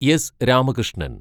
S Ramakrishnan